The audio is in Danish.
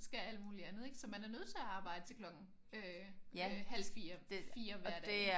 skal alt muligt andet ik? Så man er nødt til at arbejde til klokken øh øh halv 4 4 hver dag ik?